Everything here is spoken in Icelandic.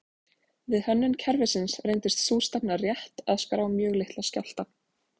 Við hönnun kerfisins reyndist sú stefna rétt að skrá mjög litla skjálfta.